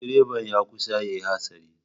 Direban ya kusa yin hatsari.